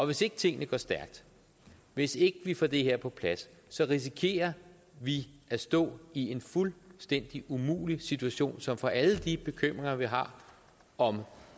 hvis ikke tingene går stærkt hvis ikke vi får det her på plads så risikerer vi at stå i en fuldstændig umulig situation som får alle de bekymringer vi har om